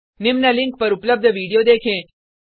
निम्न लिंक पर उपलब्ध वीडियो देखें